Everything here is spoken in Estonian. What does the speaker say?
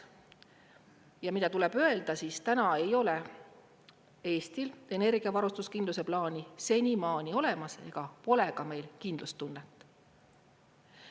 Ja mida tuleb öelda, siis täna ei ole Eestil energiavarustuskindluse plaani senimaani olemas ega pole ka meil kindlustunnet.